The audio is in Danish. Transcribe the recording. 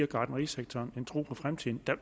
gartnerisektoren kan tro på fremtiden